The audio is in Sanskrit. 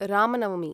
राम नवमि